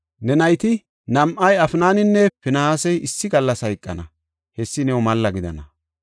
Ne nayti nam7ay, Afnaninne Finihaasi issi gallas hayqana; hessa new malla gidana.